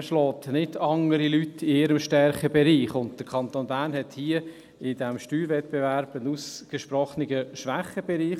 Man schlägt andere Leute nicht in ihrem Stärkebereich, und der Kanton Bern hat hier, bei diesem Steuerwettbewerb, einen ausgesprochenen Schwächebereich.